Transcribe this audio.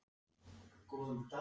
Fannlaug, hvernig er dagskráin?